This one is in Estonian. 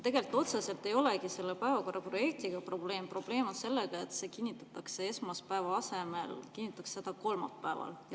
Tegelikult probleem ei olegi otseselt selles päevakorras projektis, probleem on selles, et see kinnitatakse esmaspäeva asemel kolmapäeval.